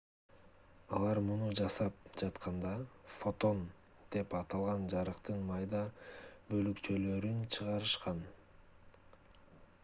алар муну жасап жатканда фотон деп аталган жарыктын майда бөлүкчөлөрүн чыгарышат